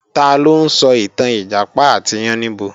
Taló ń sọ ìtàn Ìjàpá àti Yáníbo?